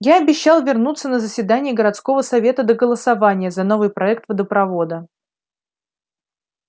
я обещал вернуться на заседание городского совета до голосования за новый проект водопровода